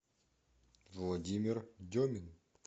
владимир демин